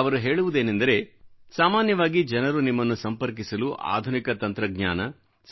ಅವರು ಹೇಳುವುದೇನೆಂದರೆ ಸಾಮಾನ್ಯವಾಗಿ ಜನರು ನಿಮ್ಮನ್ನು ಸಂಪರ್ಕಿಸಲು ಆಧುನಿಕ ತಂತ್ರಜ್ಞಾನ